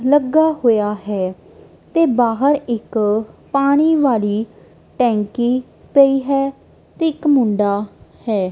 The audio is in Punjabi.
ਲੱਗਾ ਹੋਇਆ ਹੈ ਤੇ ਬਾਹਰ ਇੱਕ ਪਾਣੀ ਵਾਲੀ ਟੈਂਕੀ ਪਈ ਹੈ ਤੇ ਇੱਕ ਮੁੰਡਾ ਹੈ।